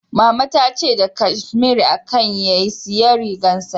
Mama ta ce da kashmiri aka yi rigar sanyi na